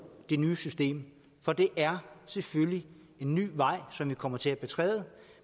det nye system for det er selvfølgelig en ny vej som vi kommer til at betræde